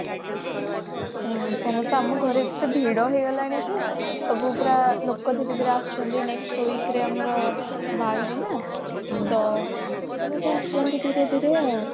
ସମସ୍ତେ ଆମ ଘରେ ଏତେ ଭିଡ ହେଇଗଲାଣି ଯେ ଲୋକ ସବୁ ପୁରା ଲୋକ ଧୀରେ ଧୀରେ ଆସୁଛନ୍ତି next week ରେ ଆମର ବାହାଘର ନା ତ ସମସ୍ତେ ଆସୁଛନ୍ତି ଧୀରେ ଧୀରେ ଆଉ